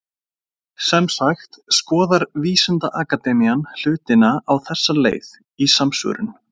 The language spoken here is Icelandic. Sem sagt, skoðar vísindaakademían hlutina á þessa leið, í samsvörun.